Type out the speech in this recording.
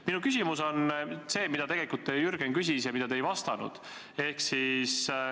Minu küsimus on see, mida Jürgen tegelikult küsis ja millele te ei vastanud.